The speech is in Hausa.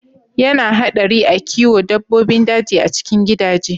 Ya na haɗari a kiwo dabbobin daji a cikin gidaje.